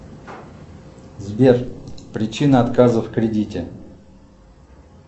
сбер причина отказа в кредите